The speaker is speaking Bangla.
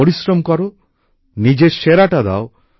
পরিশ্রম কর নিজের সেরাটা দাও